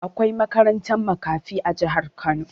Akwai makarantar makafi a jihar Kano.